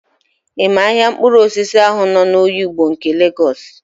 Ị ma ahịa mkpụrụosisi ahụ nọ n'Oyigbo nke Legọs?